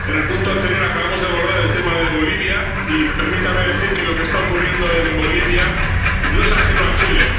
En el punto anterior acabamos de abordar el tema de Bolivia, y permítame decir que lo que está ocurriendo en Bolivia no es ajeno a Chile.